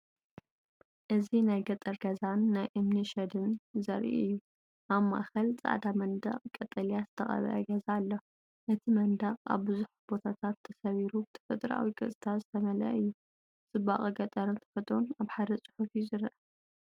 እዚ ናይ ገጠር ገዛን ናይ እምኒ ሸድን ዘርኢ እዩ። ኣብ ማእከል ጻዕዳ መንደቕ ቀጠልያ ዝተቐብአ ገዛ ኣሎ፣ እቲ መንደቕ ኣብ ብዙሕ ቦታታት ተሰቢሩ ብተፈጥሮኣዊ ቅርጽታት ዝተመልአ እዩ። ጽባቐ ገጠርን ተፈጥሮን ኣብ ሓደ ጽሑፍ እዩ ዝረአ።